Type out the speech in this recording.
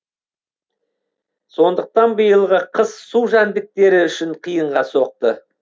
сондықтан биылғы қыс су жәндіктері үшін қиынға соқты